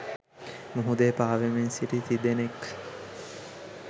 මුහුදේ පාවෙමින් සිටි තිදෙනක්